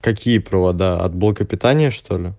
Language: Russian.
какие провода от блока питания что-ли